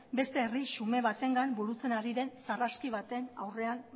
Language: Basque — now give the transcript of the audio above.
beste herri xume batengan burutzen ari den sarraski baten aurrean